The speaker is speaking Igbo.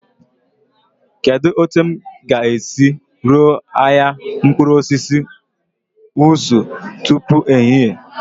Kedu otu m ga-esi ruo ahịa mkpụrụ osisi Wuse tupu ehihie?